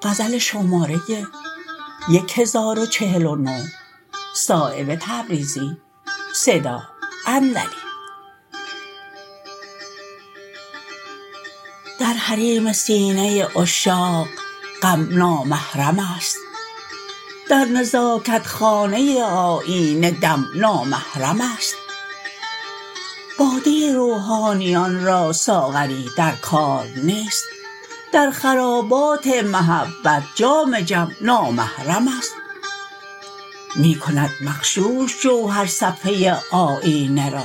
در حریم سینه عشاق غم نامحرم است در نزاکت خانه آیینه دم نامحرم است باده روحانیان را ساغری در کار نیست در خرابات محبت جام جم نامحرم است می کند مغشوش جوهر صفحه آیینه را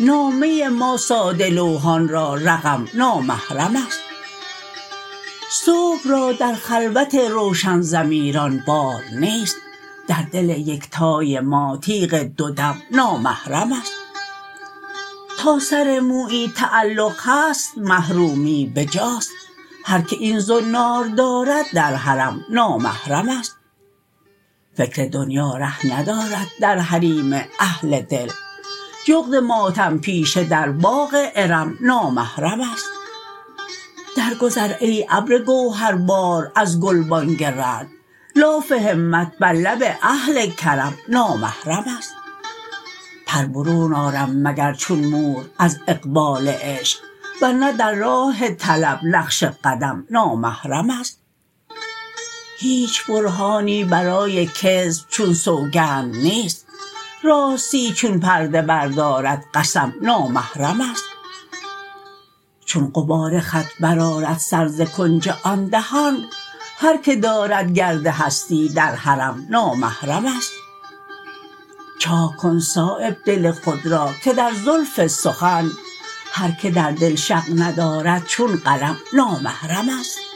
نامه ما ساده لوحان را رقم نامحرم است صبح را در خلوت روشن ضمیران بار نیست در دل یکتای ما تیغ دو دم نامحرم است تا سر مویی تعلق هست محرومی بجاست هر که این زنار دارد در حرم نامحرم است فکر دنیا ره ندارد در حریم اهل دل جغد ماتم پیشه در باغ ارم نامحرم است در گذر ای ابر گوهربار از گلبانگ رعد لاف همت بر لب اهل کرم نامحرم است پر برون آرم مگر چون مور از اقبال عشق ورنه در راه طلب نقش قدم نامحرم است هیچ برهانی برای کذب چون سوگند نیست راستی چون پرده بردارد قسم نامحرم است چون غبار خط برآرد سر ز کنج آن دهان هر که دارد گرد هستی در حرم نامحرم است چاک کن صایب دل خود را که در زلف سخن هر که در دل شق ندارد چون قلم نامحرم است